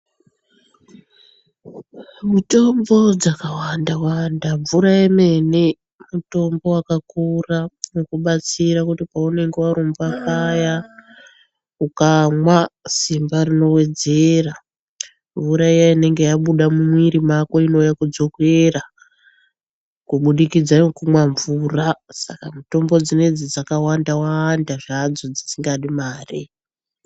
Mitombo dzakawanda wanda, mvura yemene mutombo wakakura kukubatsira kuti paunenge warumba paya ukamwa simba rinowedzera kuuraya inenge yabuda mumwiri mako inouya koodzokera, kubudikidza ngekumwa mvura saka mitombo dzinodzi dzakawanda wanda dzisikadi mare.